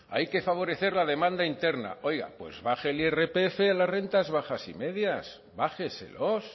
hay que favorecer la demanda interna oiga pues baje el irpf a las rentas bajas y medias bájeselos